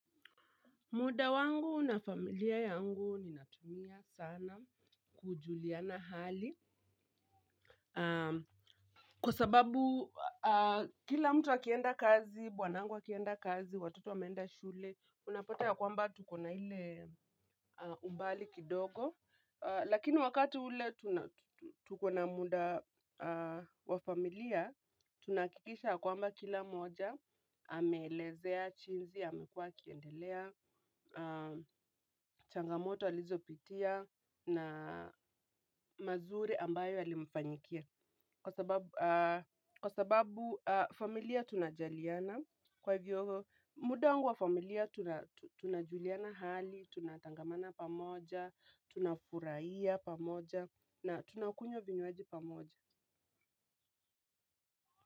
Muda wangu na familia yangu ninatumia sana kujuliana hali kwa sababu kila mtu akienda kazi, bwanangu akienda kazi, watoto wameenda shule, unapata ya kwamba tuko na ile umbali kidogo. Lakini wakati ule tuko na muda wa familia, tunahakikisha kwamba kila mmoja, ameelezea jinsi, amekua akiendelea, changamoto alizopitia na mazuri ambayo yalimfanyikia. Kwa sababu familia tunajaliana kwa hivyo muda wangu wa familia tunajuliana hali, tunatangamana pamoja, tunafurahia pamoja na tunakunywa vinywaji pamoja.